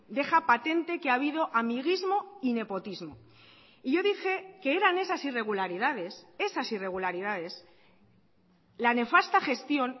deja patente que ha habido amiguismo y nepotismo y yo dije que eran esas irregularidades esas irregularidades la nefasta gestión